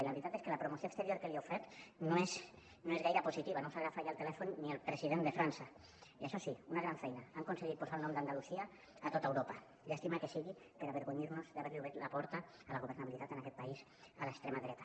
i la veritat és que la promoció exterior que li heu fet no és gaire positiva no us agafa ja el telèfon ni el president de frança i això sí una gran feina han aconseguit posar el nom d’andalusia a tot europa llàstima que sigui per avergonyir nos d’haver li obert la porta a la governabilitat en aquest país a l’extrema dreta